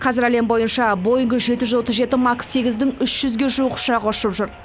қазір әлем бойынша боинг жеті жүз отыз жеті макс сегіздің үш жүзге жуық ұшағы ұшып жүр